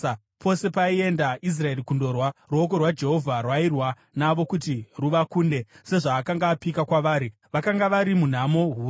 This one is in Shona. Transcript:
Pose paienda Israeri kundorwa, ruoko rwaJehovha rwairwa navo kuti ruvakunde, sezvaakanga apika kwavari. Vakanga vari munhamo huru.